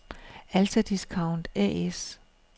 Alta Discount A/S